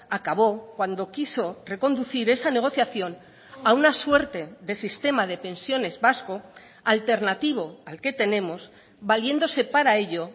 acabó cuando quiso reconducir esa negociación a una suerte de sistema de pensiones vasco alternativo al que tenemos valiéndose para ello